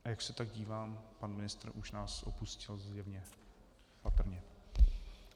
A jak se tak dívám, pan ministr už nás opustil zjevně, patrně.